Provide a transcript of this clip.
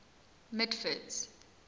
mitford's